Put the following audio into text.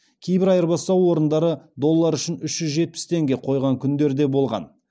кейбір айырбастау орындары доллар үшін үш жүз жетпіс теңге қойған күндер де болған